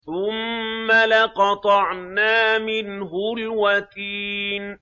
ثُمَّ لَقَطَعْنَا مِنْهُ الْوَتِينَ